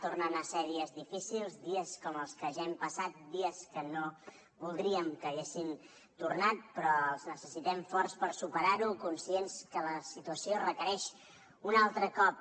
tornen a ser dies difícils dies com els que ja hem passat dies que no voldríem que haguessin tornat però els necessitem forts per superar ho conscients que la situació requereix un altre cop